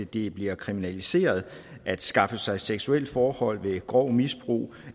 det bliver kriminaliseret at skaffe sig seksuelle forhold ved grov misbrug